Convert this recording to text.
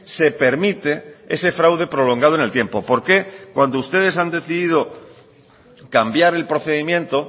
se permite ese fraude prolongado en el tiempo por qué cuando ustedes han decidido cambiar el procedimiento